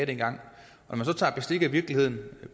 dengang når man så tager bestik af virkeligheden